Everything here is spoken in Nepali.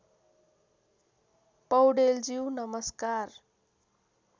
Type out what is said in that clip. पौडेलज्यू नमस्कार